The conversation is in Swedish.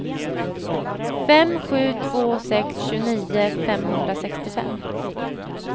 fem sju två sex tjugonio femhundrasextiofem